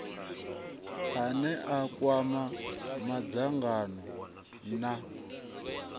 ane a kwama madzangano na